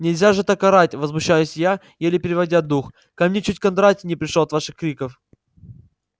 нельзя же так орать возмущаюсь я еле переведя дух ко мне чуть кондратий не пришёл от ваших криков